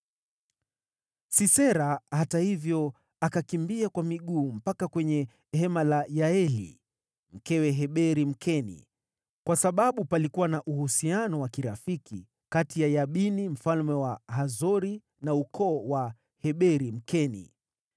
Sisera, hata hivyo, akakimbia kwa miguu mpaka kwenye hema la Yaeli, mkewe Heberi, Mkeni, kwa sababu palikuwa na uhusiano wa kirafiki kati ya Yabini mfalme wa Hazori na ukoo wa Heberi, Mkeni.